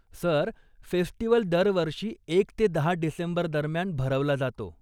Sir, festival दरवर्षी एक ते दहा डिसेंबरदरम्यान भरवला जातो.